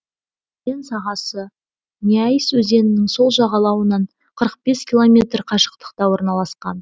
өзен сағасы няис өзенінің сол жағалауынан қырық бес километр қашықтықта орналасқан